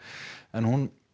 en hún